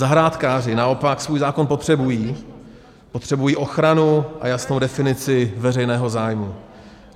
Zahrádkáři naopak svůj zákon potřebují, potřebují ochranu a jasnou definici veřejného zájmu.